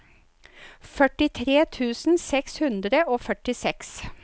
førtitre tusen seks hundre og førtiseks